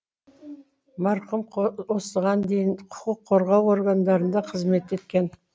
марқұм осыған дейін құқық қорғау органдарында қызмет еткен